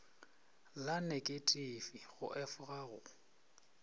la neketifi go efoga go